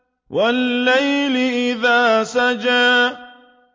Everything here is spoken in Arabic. وَاللَّيْلِ إِذَا سَجَىٰ